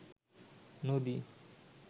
নদী